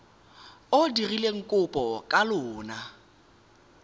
o dirileng kopo ka lona